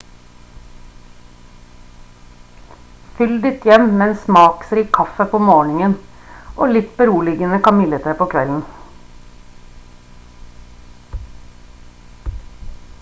fyll ditt hjem med en smaksrik kaffe på morgenen og litt beroligende kamillete på kvelden